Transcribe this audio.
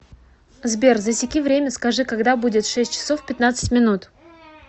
сбер засеки время скажи когда будет шесть часов пятнадцать минут